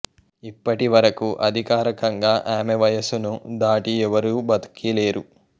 ఇప్పటి వరకు అధికారకంగా ఆమె వయస్సును దాటి ఎవరూ బతికి లేరు